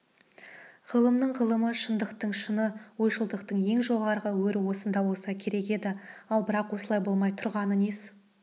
ғылымның ғылымы шындықтың шыны ойшылдықтың ең жоғарғы өрі осында болса керек еді ал бірақ осылай болмай тұрғаны несі